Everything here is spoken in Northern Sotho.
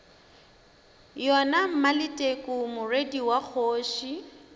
yona maleteku morwedi wa kgoši